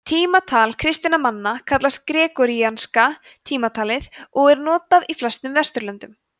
tímatal kristinna manna kallast gregoríanska tímatalið og er notað í flestum vesturlöndum